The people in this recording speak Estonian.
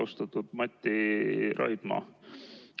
Austatud Mati Raidma!